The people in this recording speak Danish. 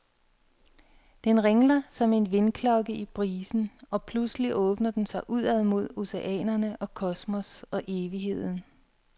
Den ringler som en vindklokke i brisen, og pludselig åbner den sig udad mod oceanerne og kosmos og evigheden.